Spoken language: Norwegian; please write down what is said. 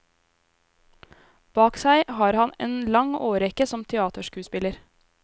Bak seg har han en lang årrekke som teaterskuespiller.